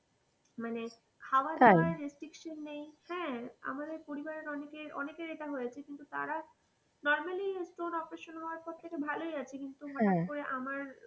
মানে, খাওয়া দাওয়ার restriction নেই, হ্যাঁ আমাদের পরিবার অনেকর অনেকই এটা হয়েছে কিন্তু তারা normally stone operation হওয়ার পর থেকে ভালোই আছে, কিন্তু আমার,